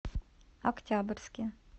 октябрьске